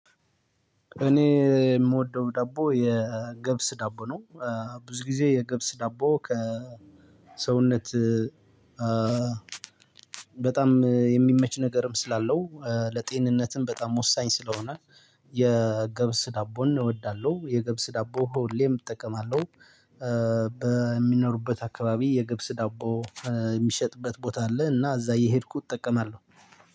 እኔ የምወደው ዳቦ የገብስ ዳቦ ነው። ብዙ ጊዜ የገብስ ዳቦ ከሰውነት- በጣም የሚመች ነገርም ስላለው ለጤንነትም በጣም ወሳኝ ስለሆነ- የገብስ ዳቦን እወዳለሁ። የገብስ ዳቦ ሆሌም እጠቀማለሁ። በምኖሩበት አካባቢ የገብስ ዳቦ የሚሸጥበት ቦታ አለ እና እዛ እየሄድኩት እጠቀማለሁ።